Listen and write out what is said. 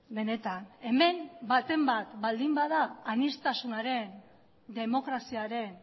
benetan hemen baten bat baldin bada aniztasunaren demokraziaren